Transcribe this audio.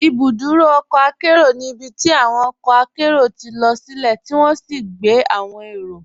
Ibùdúrò ọ̀kọ̀ àkẹro ní ibítí awọn ọ̀kọ̀ àkẹro tí lọ silẹ̀ tí wọn sì gbẹ̀ awọn èró.